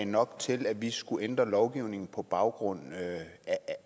nok til at vi skulle ændre lovgivningen på baggrund